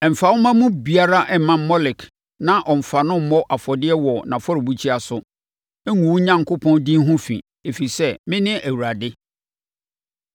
“ ‘Mfa wo mma mu biara mma Molek na ɔmmfa no mmɔ afɔdeɛ wɔ n’afɔrebukyia so. Ngu wo Onyankopɔn din ho fi, ɛfiri sɛ, mene Awurade.